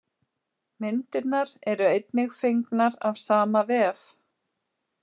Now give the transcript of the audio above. Myndirnar eru einnig fengnar af sama vef.